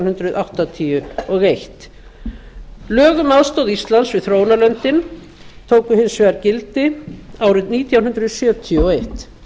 hundruð áttatíu og ein lög um aðstoð íslands við þróunarlöndin tóku hins vegar gildi árið nítján hundruð sjötíu og eitt